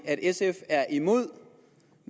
at sf er imod